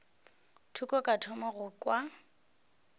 thoko ka thoma go kwa